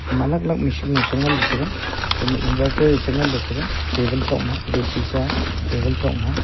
ma alag alag lo machine lo sengan ley taiga khama inverter chenganley taiga table tokma ge shisha table tokma.